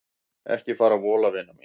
Ekki fara að vola vina mín.